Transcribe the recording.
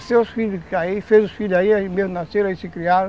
os filhos aí, fez os filhos aí, aí mesmo nasceram, aí se criaram.